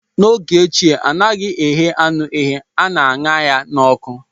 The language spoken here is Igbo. n'oge ochie anaghị eghe anụ eghe, a na aṅa ya n'ọkụ